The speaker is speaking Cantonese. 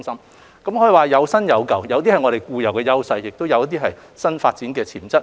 內容可以說是"有新有舊"，有些是我們固有的優勢，有些則是新發展的潛質。